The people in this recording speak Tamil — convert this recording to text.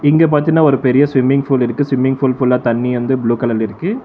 இங்க பாத்தீனா ஒரு பெரிய ஸ்விம்மிங் பூல் இருக்கு ஸ்விம்மிங் பூல் ஃபுல்லா தண்ணி வந்து ப்ளூ கலர்ல இருக்கு.